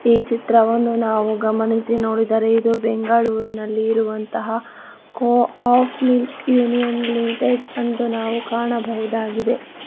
ಈ ಚಿತ್ರವನ್ನು ನಾವು ಗಮನಿಸಿ ನೋಡಿದರೆ ಇದು ಬೆಂಗಳೂರಿನಲ್ಲಿ ಇರುವಂತಹ ಕೊ ಆಫ್ ಮಿಲ್ಕ್ ಲಿಮಿಟೆಡ್ ಅಂದು ನಾವು ಕಾಣಬಹುದಾಗಿದೆ.